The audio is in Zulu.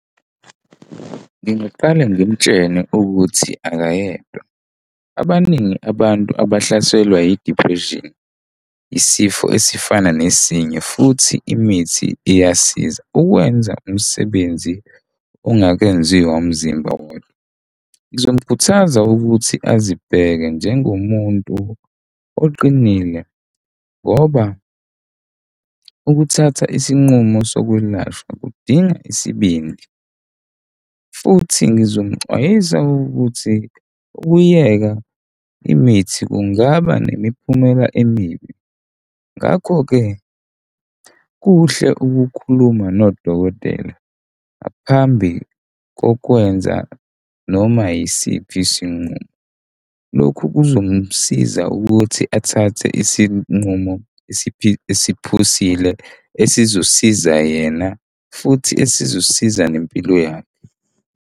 Ngingaqala ngimtshele ukuthi akayedwa. Abaningi abantu abahlasela yi-depression, isifo esifana nezinye futhi imithi iyasiza ukwenza umsebenzi ongakenziwa umzimba wakho. Ngizomukhuthaza ukuthi azibheke njengomuntu oqinile ngoba ukuthatha isinqumo sokwelashwa kudinga isibindi futhi ngizomxwayisa ukuthi ukuyeka imithi kungaba nemiphumela emibi ngakho-ke kuhle ukukhuluma nodokotela. Ngaphambi kokwenza noma yisiphi isinqumo, lokhu kuzomsiza ukuthi athathe isinqumo esiphusile esizosiza yena futhi esizosiza nempilo yakhe.